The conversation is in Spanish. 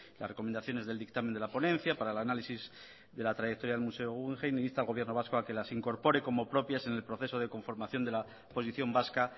las recomendaciones del dictamen de la ponencia para el análisis de la trayectoria del museo guggenheim e insta al gobierno vasco a que las incorpore como propias en el proceso de conformación de la posición vasca